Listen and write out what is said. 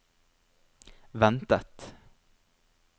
ventet